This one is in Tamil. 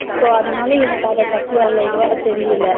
So அதனால எனக்கு அதபத்தி அவ்ளோ இதுவா தெரியல